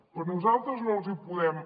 però nosaltres no els hi podem